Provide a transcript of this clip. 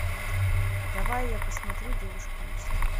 давай я посмотрю девушки мечты